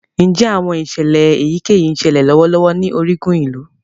Njẹ awọn iṣẹlẹ eyikeyi ńsele lọwọlọwọ ni origun ilu?